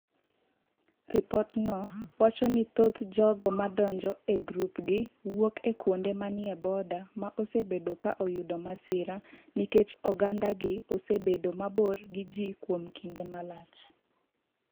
Ripotno wacho ni thoth jogo ma donjo e grupgi wuok e kuonde ma ni e border ma osebedo ka oyudo masira nikech ogandagi osebedo mabor gi ji kuom kinde malach.